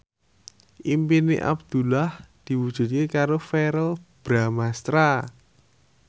impine Abdullah diwujudke karo Verrell Bramastra